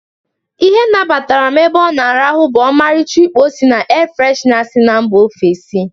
Ihe nabatara m ebe ọ na-arahụ bụ ọmaricha ukpo si na ee freshna sị mba ofesi.